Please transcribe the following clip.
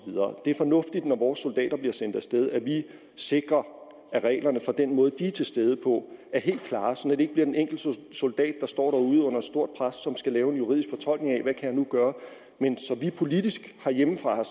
videre det er fornuftigt når vores soldater bliver sendt af sted at vi sikrer at reglerne for den måde de er til stede på er helt klare sådan ikke bliver den enkelte soldat der står derude under et stort pres som skal lave en juridisk fortolkning af hvad kan gøre men at vi politisk herhjemmefra har